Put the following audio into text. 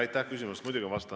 Aitäh küsimuse eest!